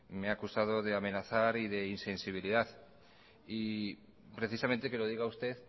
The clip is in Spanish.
me ha acusado de amenazar y de insensibilidad y precisamente que lo diga usted